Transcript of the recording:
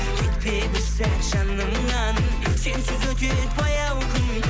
кетпе бір сәт жанымнан сенсіз өтеді баяу күн